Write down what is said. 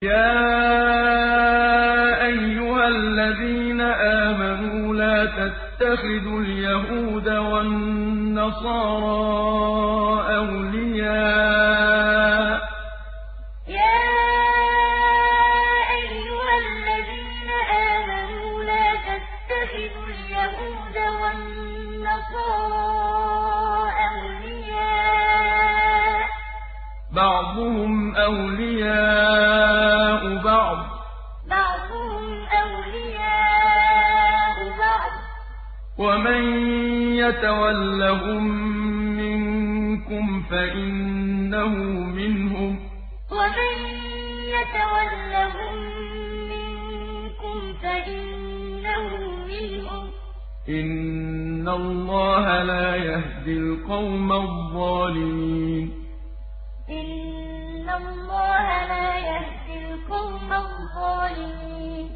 ۞ يَا أَيُّهَا الَّذِينَ آمَنُوا لَا تَتَّخِذُوا الْيَهُودَ وَالنَّصَارَىٰ أَوْلِيَاءَ ۘ بَعْضُهُمْ أَوْلِيَاءُ بَعْضٍ ۚ وَمَن يَتَوَلَّهُم مِّنكُمْ فَإِنَّهُ مِنْهُمْ ۗ إِنَّ اللَّهَ لَا يَهْدِي الْقَوْمَ الظَّالِمِينَ ۞ يَا أَيُّهَا الَّذِينَ آمَنُوا لَا تَتَّخِذُوا الْيَهُودَ وَالنَّصَارَىٰ أَوْلِيَاءَ ۘ بَعْضُهُمْ أَوْلِيَاءُ بَعْضٍ ۚ وَمَن يَتَوَلَّهُم مِّنكُمْ فَإِنَّهُ مِنْهُمْ ۗ إِنَّ اللَّهَ لَا يَهْدِي الْقَوْمَ الظَّالِمِينَ